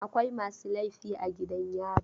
Akwai masu laifi a gidan yari.